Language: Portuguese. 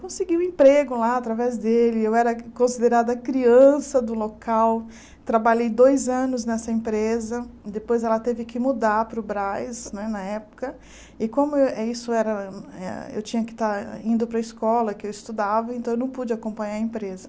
Consegui um emprego lá através dele, eu era considerada criança do local, trabalhei dois anos nessa empresa, depois ela teve que mudar para o Braz né, na época, e como eu eh isso era eh eu tinha que estar indo para a escola, que eu estudava, então eu não pude acompanhar a empresa.